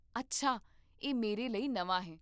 ਅੱਛਾ, ਇਹ ਮੇਰੇ ਲਈ ਨਵਾਂ ਹੈ